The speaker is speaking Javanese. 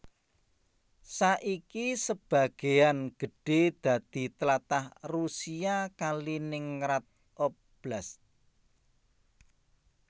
Saiki sebagéan gedhé dadi tlatah Rusia Kaliningrad Oblast